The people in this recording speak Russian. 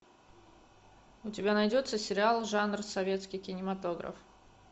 у тебя найдется сериал жанр советский кинематограф